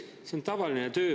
See on tavaline töö.